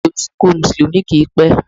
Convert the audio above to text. Ètò isìnkú Mùsùlùmí kì ń pẹ́.